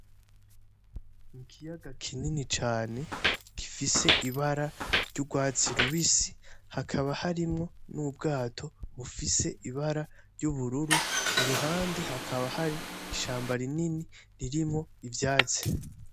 Ikiyaga kinini cane gifise ibara ry'urwatsi rubisi hakaba harimo n'ubwato bufise ibara ry'ubururu, iruhande hakaba hari ishamba rinini ririmwo ivyatsi.